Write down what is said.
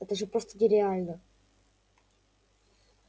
это же просто нереально